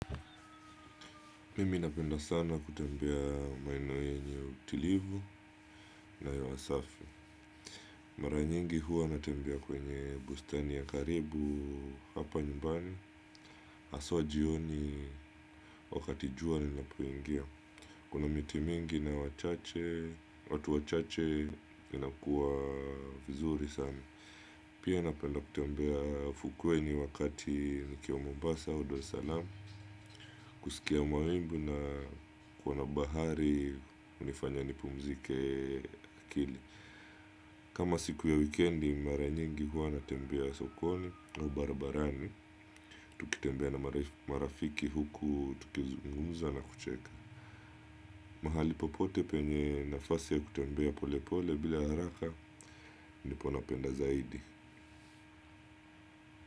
Mimi napenda sana kutembea maeno yenye utulivu na hewa safi. Mara nyingi huwa natembea kwenye bustani ya karibu hapa nyumbani haswa jioni wakati jua linapoingia. Kuna miti mingi na wachache, watu wachache inakuwa vizuri sana. Pia napenda kutembea fukweni wakati nikiwa Mombasa, au Dar es Salam. Kusikia mawimbi na kuona bahari, unifanya nipumzike akili. Kama siku ya wikendi, mara nyingi huwa natembea sokoni au barbarani. Tukitembea na marafiki huku, tukizungumza na kucheka. Mahali popote penye nafasi ya kutembea pole pole bila haraka, ndipo napenda zaidi.